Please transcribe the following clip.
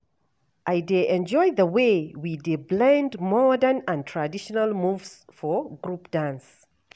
I dey enjoy the way we dey blend modern and traditional moves for group dance.